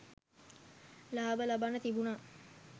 ලාභ ලබන්න තිබුණා.